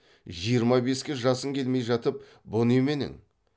жиырма беске жасың келмей жатып бұ неменең